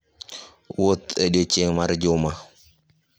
Wuoth e odiechieng' mar juma.